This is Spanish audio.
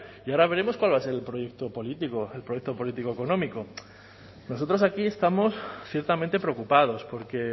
y ahora veremos cuál va a ser el proyecto político el proyecto político económico nosotros aquí estamos ciertamente preocupados porque